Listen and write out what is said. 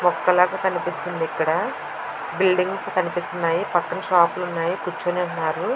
మొక్క లాగా కనిపిస్తుంది ఇక్కడ. బిల్డింగ్స్ కనిపిస్తునాయి. పక్కన షాప్ లు ఉన్నాయి. కూర్చుని ఉన్నారు.